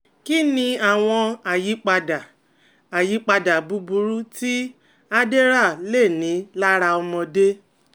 Kí ni àwọn àyípadà àyípadà búburú tí Adderall lè ní lára ọmọdé?